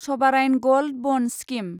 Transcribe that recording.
सभाराइन gold bond scheme